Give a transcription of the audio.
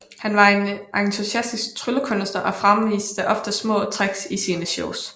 Han var en entusiastisk tryllekunstner og fremviste ofte små tricks i sine shows